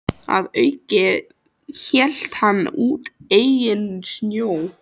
Að auki hélt hann úti eigin sjón